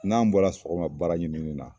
N'an bɔra sɔgɔma baara ɲinin na